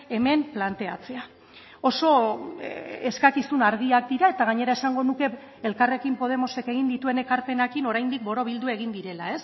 hemen planteatzea oso eskakizun argiak dira eta gainera esango nuke elkarrekin podemosek egin dituen ekarpenekin oraindik borobildu egin direla